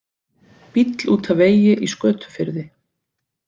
Bíll út af vegi í Skötufirði